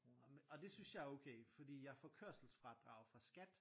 Og det synes jeg er okay fordi jeg får kørselsfradrag fra Skat